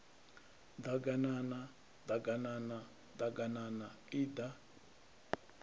ḓaganana ḓ aganana ḓaganana iḓa